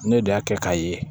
Ne de y'a kɛ k'a ye